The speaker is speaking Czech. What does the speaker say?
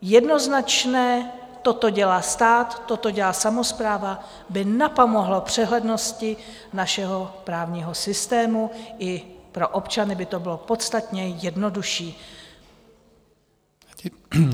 Jednoznačné "toto dělá stát, toto dělá samospráva" by napomohlo přehlednosti našeho právního systému, i pro občany by to bylo podstatně jednodušší.